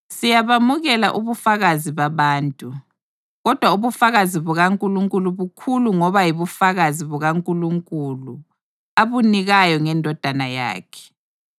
Siyabamukela ubufakazi babantu, kodwa ubufakazi bukaNkulunkulu bukhulu ngoba yibufakazi bukaNkulunkulu abunikayo ngeNdodana yakhe.